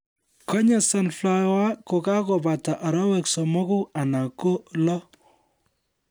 Konye sunflower kokebata arawek somoku anan ko lo